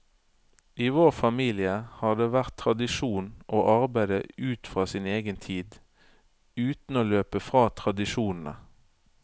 I vår familie har det vært tradisjon å arbeide ut fra sin egen tid, uten å løpe fra tradisjonene.